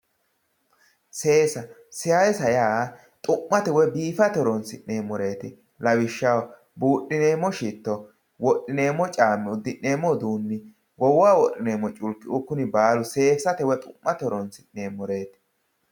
seesa seesa yaa dhu'mate woy biifate horonsi'neemoreeti lawishshaho buudhineemo shitto wodhineemo caami uddi'neemo uduunni goowaho wodhineemo culkiuu kuri baalu seesate woy dhu'mate hooronsi'neemoreeti